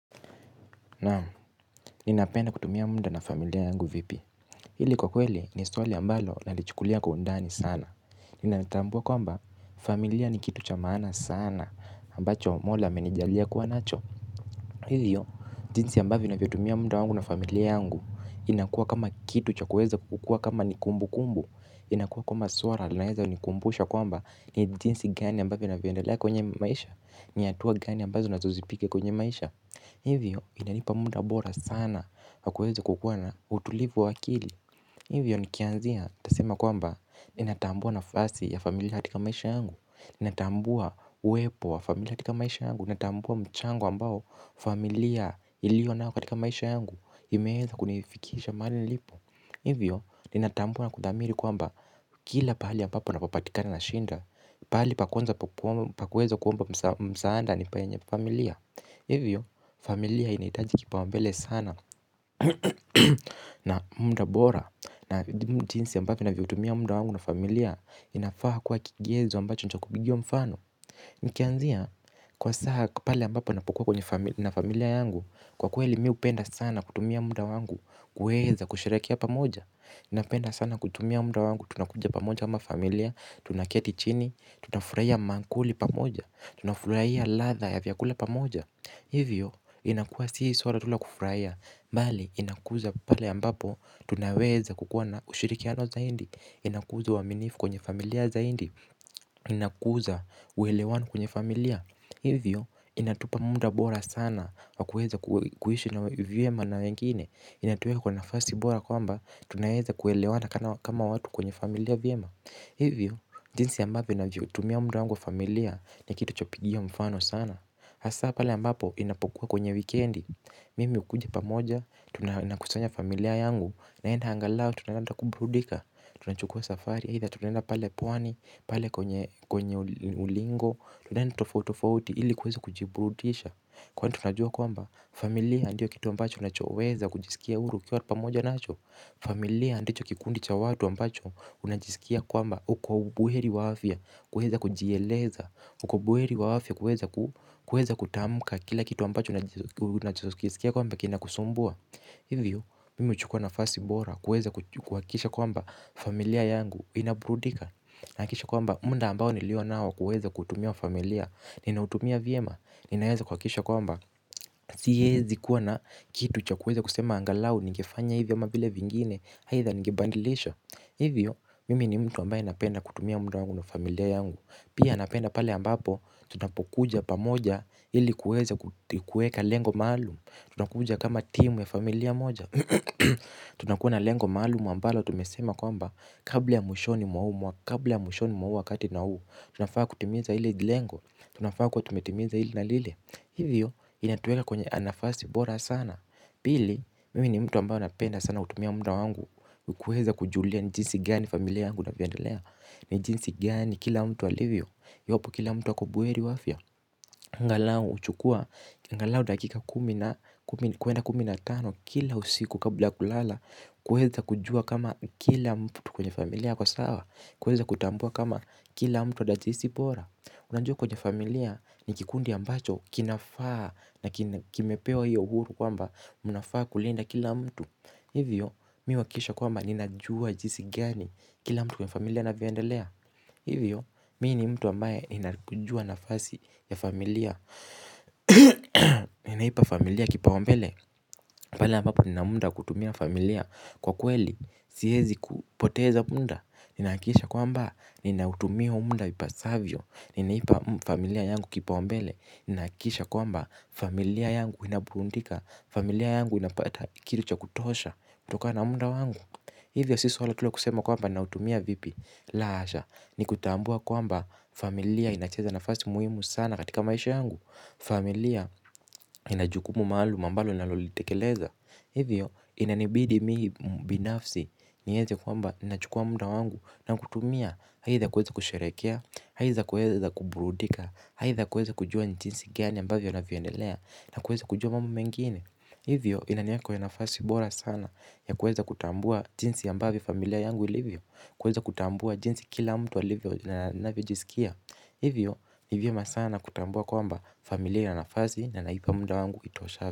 Nam ninapenda kutumia muda na familia yangu vipi. Hili kwa kweli ni swali ambalo na lichukulia kwa undani sana. Inanitambua kwamba, familia ni kitu cha maana sana ambacho mola amenijalia kuwa nacho. Hivyo, jinsi ambavyo navyotumia muda wangu na familia yangu inakuwa kama kitu cha kuweza kukua kama nikumbu kumbu. Inakuwa kwamba swala laeza nikumbusha kwamba ni jinsi gani ambavyo navyoendelea kwenye maisha. Ni hatua gani ambazo na nizopiga kwenye maisha. Hivyo inanipa muda bora sana wa kuweza kukuwa utulivu wa akili. Hivyo nikianzia ntasema kwamba ninatambua nafasi ya familia katika maisha angu. Ninatambua uwepo wa familia katika maisha angu. Ninatambua mchango ambao familia ilio nao katika maisha yangu imewai kunifikisha mahali nilipo. Hivyo ninatambua na kuthamini kwamba kila pahali ya ambapo napopatikana nashinda. Pahali pa kwanza pakuwezo kuomba msaada ni penye familia. Hivyo familia inaitaji kipa umbele sana na muda bora na jinsi ambavyo navyotumia muda wangu na familia inafaa kwa kigezo ambacho ni chakubiwa mfano. Nikianzia kwa saha pale ambapo napukua na familia yangu. Kwa kweli mi hupenda sana kutumia muda wangu kuweza kusherekea pamoja napenda sana kutumia muda wangu tunakuja pamoja ama familia. Tunaketi chini, tunafurahia maakuli pamoja, tunafurahia ladhaa ya vyakula pamoja. Hivyo inakuwa sisi swala tu la kufuraia bali inakuza pale ambapo tunaweza kukua na ushirikiano zaidi inakuza waminifu kwenye familia zaidi. Inakuza uelewano kwenye familia. Hivyo inatupa muda bora sana wa kuweza kuishi vyema na wengine. Inatuweka kwa nafasi bora kwamba, tunaweza kuelewana kama watu kwenye familia vyema. Hivyo jinsi ambavyo navyoutumia muda wangu familia, ni kitu cha kupigia mfano sana. Hasa pale ambapo inapokuwa kwenye weekend. Mimi hukuja pamoja, tunakusanya familia yangu. Naenda angalau, tunaenda kuburudika. Tunachukua safari, eitha tunaenda pale pwani pale kwenye kwenye ulingo. Tunaganda tofotofoti ili kwezo kujibrudisha. Kwa henda tunajua kwamba, familia andiyo kitu ambacho unachoweza kujisikia uru kia watu pamoja nacho. Familia ndicho kikundi cha watu ambacho unajisikia kwamba uko buheri wa afya. Kuweza kujieleza, uko buheri wafya kuweza. Kuweza kutamka kila kitu ambacho unajisikia kwamba kinakusumbua. Hivyo mimi huchukua nafasi bora kuweza kuhakikisha kwamba familia yangu inaburudika. Nahakikisha kwamba muda ambao nilio nao kuweza kutumia wa familia. Ninautumia vyema. Ninayaweza kuhakisha kwa mba. Siwezi kuwa na kitu cha kuweza kusema angalau nigefanya hivyo ama vile vingine aitha nigebandilisha. Hivyo mimi ni mtu ambaye napenda kutumia muda wangu na familia yangu. Pia napenda pale ambapo tunapokuja pamoja ili kuweza kuweka lengo maalumu. Tunakuja kama timu ya familia moja. Tunakuna lengo maalumu ambalo tumesema kwamba kabla ya mwishoni mwa u mwa kabla ya mwishoni mwa u wakati na u. Tunafaa kutimiza hili lengo. Tunafaa kwa tumetimiza hili na lile. Hivyo inatueka kwenye anafasi bora sana. Pili mimi ni mtu ambaye anapenda sana kutumia muda wangu kuweza kujulia ni jinsi gani familia angu na vyandelea ni jinsi gani kila mtu alivyo, iwapo kila mtu yupo bu heri wa afya angalau huchukua angalau dakika kumi na kwenda kumi na tano. Kila usiku kabla kulala. Kuweza kujua kama kila mtu kwenye familia kwa sawa. Kuweza kutambua kama kila mtu wada jisi bora. Unajua kwenye familia. Ni kikundi ambacho kinafaa na kimepewa hiyo uhuru kwamba unafaa kulenda kila mtu. Hivyo mi huakikisha kwamba ninajua jinsi gani. Kila mtu kwenye familia anavyondelea. Hivyo, mii ni mtu ambaye ninakujua nafasi ya familia. Ninaipa familia kipaumbele pale ambapo nina muda wa kutumia na familia kwa kweli siwezi kupoteza punda. Ninahakikisha kwamba, ninautumia huo muda ipasavyo, ninaipa familia yangu kipaumbele. Nahakikisha kwamba, familia yangu inaburudika, familia yangu inapata kile cha kutosha kutokana na muda wangu. Hivyo sio swala tu la kusema kwamba na utumia vipi laa asha! Ni kutambua kwamba familia inacheza nafasi muhimu sana katika maisha yangu familia inajukumu maalumu ambalo nalolitekeleza hivyo inanibidi mi binafsi niweze kwamba nachukua muda wangu na kutumia aidha kuweza kusherekea aidha kuweza kubrudika aidha kujua ni jinsi gani ambavyo na vyendelea na kuweza kujua mambo mengine hivyo inaniweka kwenye nafasi bora sana ya kuweza kutambua jinsi ambavyo familia yangu ilivyo. Kuweza kutambua jinsi kila mtu alivyo na navyo jisikia. Hivyo hivyo masana kutambua kwamba familia na nafazi na naipa munda wangu ito shabi.